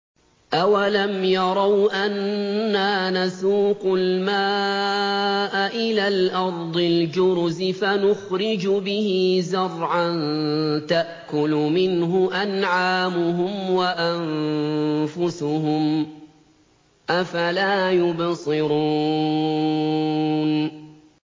أَوَلَمْ يَرَوْا أَنَّا نَسُوقُ الْمَاءَ إِلَى الْأَرْضِ الْجُرُزِ فَنُخْرِجُ بِهِ زَرْعًا تَأْكُلُ مِنْهُ أَنْعَامُهُمْ وَأَنفُسُهُمْ ۖ أَفَلَا يُبْصِرُونَ